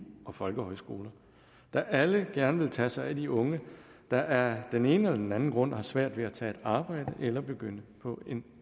og folkehøjskoler der alle gerne vil tage sig af de unge der af den ene eller den anden grund har svært ved at tage et arbejde eller begynde på en